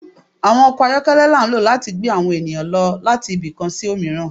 Awọn ọkọ ayọkẹlẹ la n lo lati gbẹ awọn eniyan lati ìbi kan sí omiran